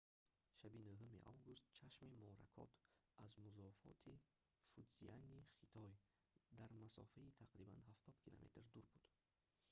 шаби 9 август чашми моракот аз музофоти фудзияни хитой дар масофаи тақрибан ҳафтод километр дур буд